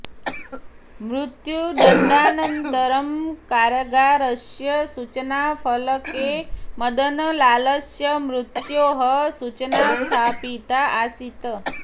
मृत्युदण्डानन्तरं कारागारस्य सूचनाफलके मदनलालस्य मृत्योः सूचना स्थापिता आसीत्